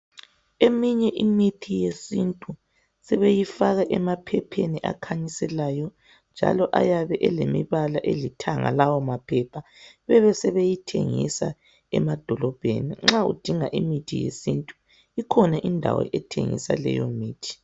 Eminye imithi yesintu sebeyifaka emaphepheni akhanyiselayo njalo ayabe elembala elithanga lawo maphepha bebesebeyithengisa emadolobheni. Nxa udinga imithi yesintu kukhona indawo ethengisa leyomithi.